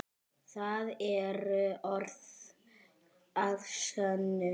Það eru orð að sönnu.